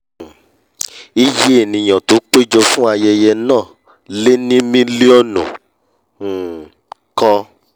um iyé ènìà tó pé jọ fún ayẹyẹ náà náà lé ní milionu um kan